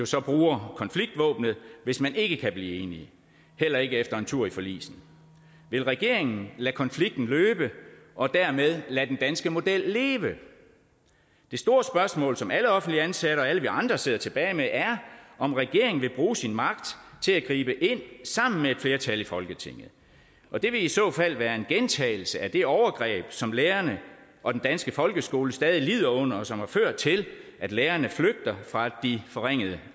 så bruger konfliktvåbnet hvis man ikke kan blive enige heller ikke efter en tur forligsen vil regeringen lade konflikten løbe og dermed lade den danske model leve det store spørgsmål som alle offentligt ansatte og alle vi andre sidder tilbage med er om regeringen vil bruge sin magt til at gribe ind sammen med et flertal i folketinget og det vil i så fald være en gentagelse af det overgreb som lærerne og den danske folkeskole stadig lider under og som har ført til at lærerne flygter fra de forringede